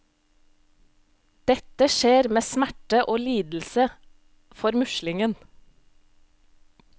Dette skjer med smerte og lidelse for muslingen.